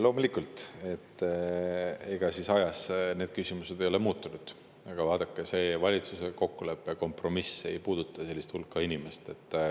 Loomulikult, ega ajas need küsimused ei ole muutunud, aga vaadake, see valitsuse kokkulepe, kompromiss ei puuduta sellist hulka inimesi.